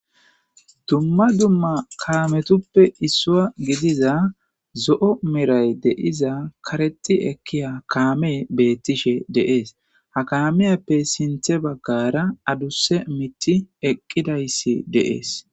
Dumma dumma kalametuppe issua gidiza zo'o miray deiza kareti ekkiya kaame beettishe deees ha kamiyappe sinthe baggara aduse miti eqqidayssi deees.